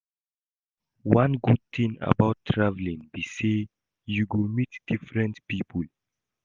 One good thing about traveling be say you go meet different people